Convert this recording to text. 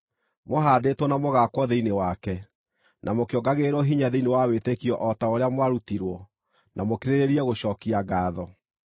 mũhaandĩtwo na mũgaakwo thĩinĩ wake, na mũkĩongagĩrĩrwo hinya thĩinĩ wa wĩtĩkio o ta ũrĩa mwarutirwo, na mũkĩrĩrĩrie gũcookia ngaatho.